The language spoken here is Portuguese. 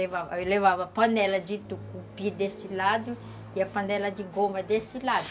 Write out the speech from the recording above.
Levava, eu levava a panela de tucupi desse lado e a panela de goma desse lado.